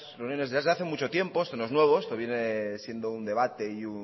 reuniones desde hace mucho tiempo esto no es nuevo esto viene siendo un debate y